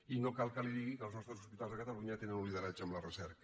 i no cal que li digui que els nostres hospitals a catalunya tenen un lideratge en la recerca